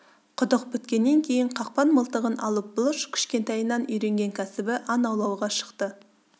құдық біткеннен кейін қақпан мылтығын алып бұлыш кішкентайынан үйренген кәсібі аң аулауға шықты